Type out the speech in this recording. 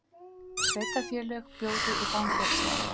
Sveitarfélög bjóði í fangelsi